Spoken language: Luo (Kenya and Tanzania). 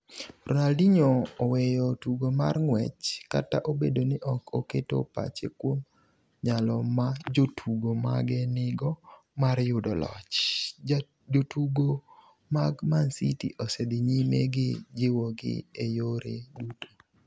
Ronadinho oweyo tugo mar ng’wech Kata obedo ni ok oketo pache kuom nyalo ma jotugo mage nigo mar yudo loch, jotugo mag Mancity osedhi nyime gi jiwogi e yore duto -